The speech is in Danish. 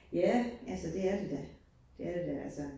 Ja, altså det er det da, det er det da altså